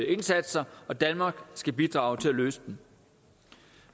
indsatser og danmark skal bidrage til at løse dem